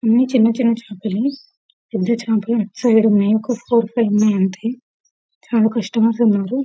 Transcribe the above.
అన్ని చిన్న చిన్న చాపలు పెద్ద చాపలు అటుసైడు ఉన్నాయి మెయిన్ ఫుడ్ కోర్ట్ మీద ఉన్నాయి అంతే చాల కస్టమర్స్ ఉన్నారు .